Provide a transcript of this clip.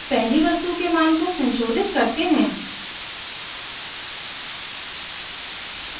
अब पहली वस्तु के मान को संशोधित करते हैं